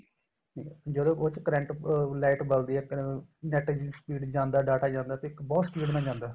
ਠੀਕ ਏ ਜਦੋਂ ਉਸ ਚ current ਅਹ light ਬਲਦੀ ਏ NET ਦੀ speed ਚ data ਜਾਂਦਾ ਤਾਂ ਬਹੁਤ speed ਨਾਲ ਜਾਂਦਾ